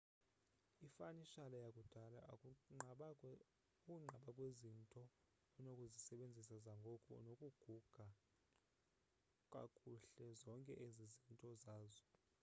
ifanishala yakudala ukunqaba kwezinto onokuzisebenzisa zangoku nokuguga kakuhle zonke ezo zizinto zazo